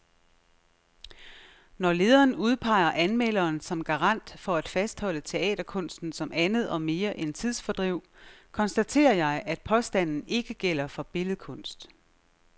Når lederen udpeger anmelderen som garant for at fastholde teaterkunsten som andet og mere end tidsfordriv, konstaterer jeg, at påstanden ikke gælder for billedkunst.